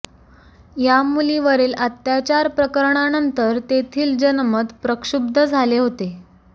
या मुलीवरील अत्याचार प्रकरणानंतर तेथील जनमत प्रक्षुब्ध झाले होते